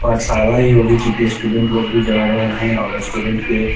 पाठशाला ही होगी चूंकि स्टूडेंट लोग भी जा रहे है और स्टूडेंट्स के --